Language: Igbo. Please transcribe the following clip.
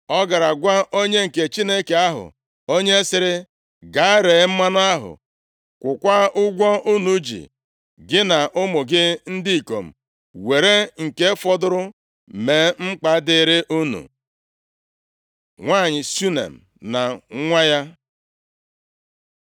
Ọ gara gwa onye nke Chineke ahụ, onye sịrị, “Gaa, ree mmanụ ahụ, kwụkwaa ụgwọ unu ji. Gị na ụmụ gị ndị ikom were nke fọdụrụ mee mkpa dịrị unu.” Nwanyị Shunem na nwa ya